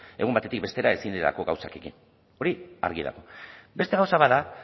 egun batetik bestera ezin direlako gauzak egin hori argi dago beste gauza bat da